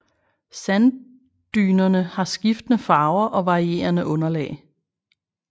Sanddynerne har skiftende farver og varierende underlag